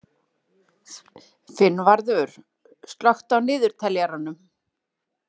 Finnvarður, slökktu á niðurteljaranum.